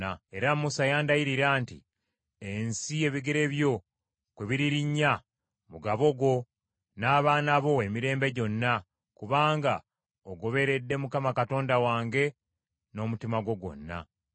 Era Musa yandayirira nti, ‘Ensi ebigere byo kwe biririnnya, mugabo gwo n’abaana bo emirembe gyonna, kubanga ogoberedde Mukama Katonda wange n’omutima gwo gwonna.’